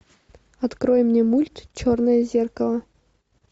открой мне мульт черное зеркало